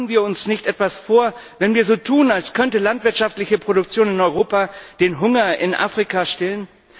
Machen wir uns nicht etwas vor, wenn wir so tun, als könnte landwirtschaftliche Produktion in Europa den Hunger in Afrika stillen?